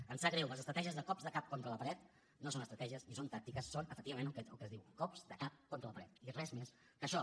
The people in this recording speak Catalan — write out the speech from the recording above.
em sap greu les estratègies de cops de cap contra la paret no són estratègies ni són tàctiques són efectivament el que es diu cops de cap contra la paret i res més que això